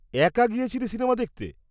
-একা গিয়েছিলি সিনেমা দেখতে?